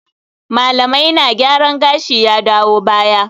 Malamaina gyaran gashi ya dawo baya